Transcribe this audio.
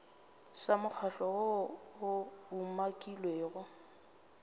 sa mokgatlo woo o umakilwego